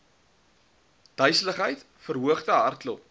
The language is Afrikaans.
duiseligheid verhoogde hartklop